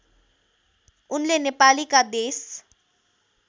उनले नेपालीका देश